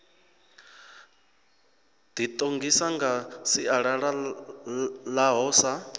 ḓiṱongisa nga sialala ḽaho sa